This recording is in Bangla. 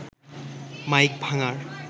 মাইক ভাঙার